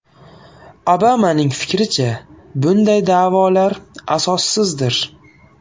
Obamaning fikricha, bunday da’volar asossizdir.